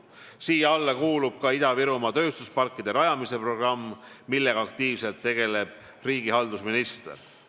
Siia alla kuulub ka Ida-Virumaa tööstusparkide rajamise programm, millega aktiivselt tegeleb riigihalduse minister.